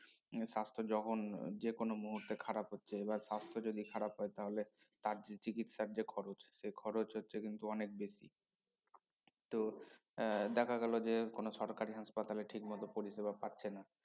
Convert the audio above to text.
হম স্বাস্থ্য যখন হম যে কোনো মুহুর্তে খারাপ হচ্ছে এবার স্বাস্থ্য যদি খারাপ হয় তাহলে তার যে চিকিৎসার যে খরচ সে খরচ হচ্ছে কিন্তু অনেক বেশি তো এর দেখা গেল যে কোনো সরকারি হাসপাতালে ঠিকমত পরিসেবা পাচ্ছে না